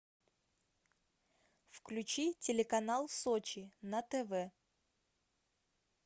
включи телеканал сочи на тв